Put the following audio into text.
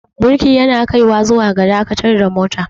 birki yana kaiwa zuwa ga dakatar da mota